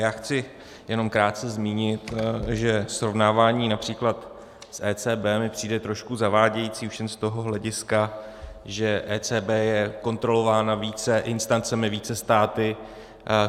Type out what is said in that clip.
Já chci jenom krátce zmínit, že srovnávání například s ECB mi přijde trošku zavádějící už jen z toho hlediska, že ECB je kontrolována více instancemi, více státy.